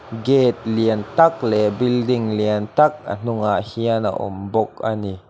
gate lian tak leh building lian tak a hnungah hian a awm bawk ani.